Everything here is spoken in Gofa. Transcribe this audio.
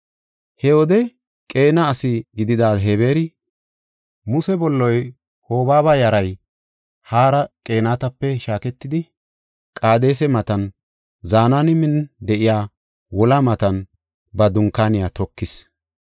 He wode Qeena asi gidida Hebeeri, Muse bolloy, Hobaaba yaray hara Qeenatape shaaketidi Qaadesa matan Zenaanimen de7iya wolaa matan ba dunkaaniya tokis.